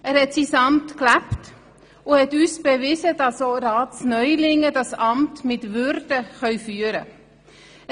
Er hat sein Amt gelebt und uns bewiesen, dass auch Ratsneulinge dieses Amt mit Würde führen können.